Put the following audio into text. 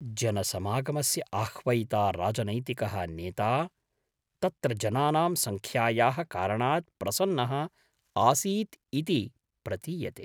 जनसमागमस्य आह्वयिता राजनैतिकः नेता, तत्र जनानां सङ्ख्यायाः कारणात् प्रसन्नः आसीत् इति प्रतीयते।